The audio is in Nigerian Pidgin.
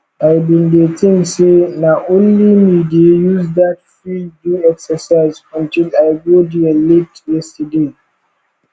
i bin dey think say na only me dey use dat field do exercise untill i go there late yesterday